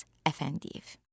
İlyas Əfəndiyev.